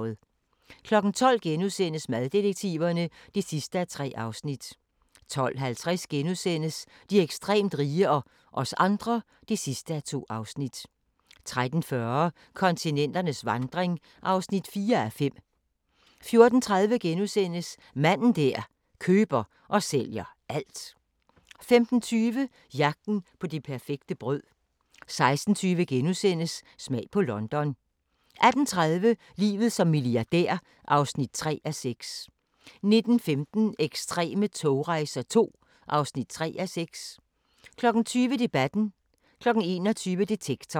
12:00: Maddetektiverne (3:3)* 12:50: De ekstremt rige – og os andre (2:2)* 13:40: Kontinenternes vandring (4:5) 14:30: Manden der køber og sælger alt * 15:20: Jagten på det perfekte brød 16:20: Smag på London * 18:30: Livet som milliardær (3:6) 19:15: Ekstreme togrejser II (3:6) 20:00: Debatten 21:00: Detektor